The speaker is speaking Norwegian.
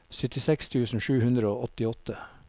syttiseks tusen sju hundre og åttiåtte